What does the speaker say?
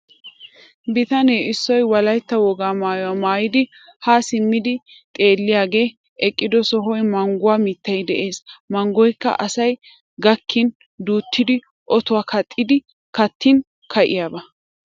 Bitane issoy wolaytta wogaa maayuwa maaydi ha simmidi xeelliyagee eqqido sohuwan mangguwa mittay de'ees. Manggoykka asay gakkin duuttidi otuwan kaaxidi kattin ka'iyaba.